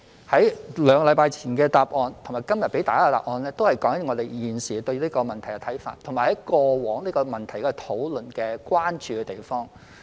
我在兩星期前的答覆及今天給大家的答覆，都是我們現時對這個問題的看法，以及過往討論這個問題所關注的地方。